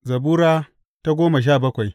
Zabura Sura goma sha bakwai